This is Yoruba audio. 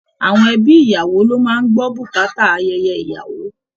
Àwọn ẹ̀bí ìyàwó ló má a ń gbọ́ bùkátà ayẹyẹ ìyàwó